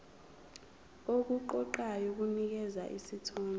okuqoqayo kunikeza isithombe